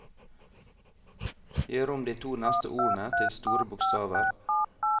Gjør om de to neste ordene til store bokstaver